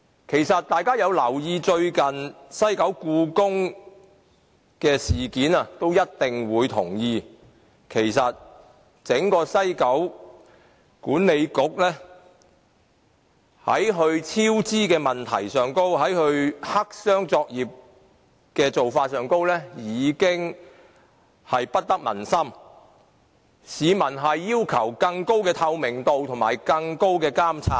如果大家有留意最近西九故宮文化博物館的事件，便一定會同意，其實整個西九文化區管理局在其超支問題和黑箱作業的做法上，已經不得民心，市民要求有更高的透明度和更高的監察。